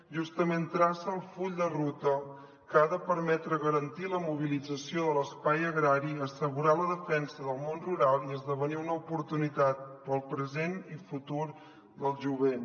justament traça el full de ruta que ha de permetre garantir la mobilització de l’espai agrari assegurar la defensa del món rural i esdevenir una oportunitat per al present i futur del jovent